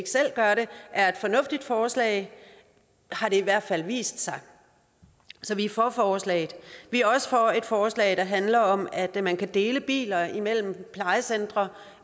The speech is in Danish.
selv gør det er et fornuftigt forslag har det i hvert fald vist sig så vi er for forslaget vi er også for et forslag der handler om at man kan dele biler imellem plejecentre